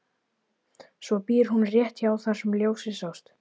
Svo býr hún rétt hjá þar sem ljósið sást.